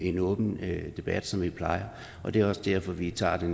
en åben debat som vi plejer og det er også derfor vi tager den